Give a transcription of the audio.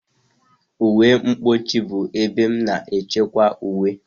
Uwe mkpuchi bụ ebe a na-echekwa uwe.